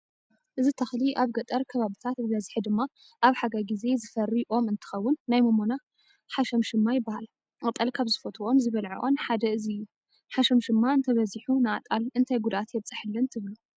እዚ ተኽሊ ኣብ ገጠር ከባብታት ብበዝሒ ድማ ኣብ ሓጋይ ጊዜ ዝፈሪ ኦም እንትኸውን ናይ ሞሞና ሓሸምሸማ ይባሃል፡፡ ኣጣል ካብ ዝፈትወኦን ዝበልዖን ሓደ እዚ እዩ፡፡ ሓሸምሸማ እንተበዚሑ ንኣጣል እንታይ ጉድኣት የብፀሐለን ትብሉ?